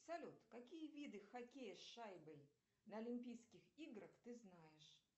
салют какие виды хоккея с шайбой на олимпийских играх ты знаешь